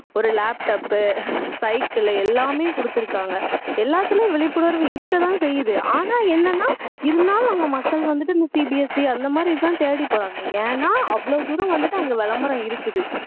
ஒரு laptop உ cycle உ எல்லாமே கொடுத்துருக்காங்க எல்லாத்தலையும் விழிப்புணர்வு இருக்க தான் செய்து ஆனா என்னன்ன இருந்தாலும் நம்ம மக்கள் வந்துட்டு இன்னும் CBSE அந்த மாதிரி தேடி போறாங்க ஏன்னா அவ்ளோ தூரம் வந்துட்டு அங்க விளம்பரம் இருக்குது